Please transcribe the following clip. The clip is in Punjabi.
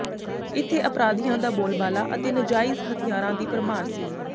ਇੱਥੇ ਅਪਰਾਧੀਆਂ ਦਾ ਬੋਲਬਾਲਾ ਅਤੇ ਨਜਾਇਜ਼ ਹਥਿਆਰਾਂ ਦੀ ਭਰਮਾਰ ਸੀ